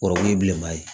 Kɔrɔkun ye bilenman ye